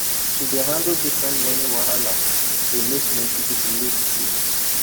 to dey handle different money wahala dey make plenty people lose sleep